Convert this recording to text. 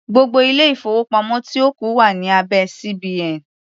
Gbogbo ilé-ìfowópamọ́ tí ó kù wà ní abẹ́ CBN.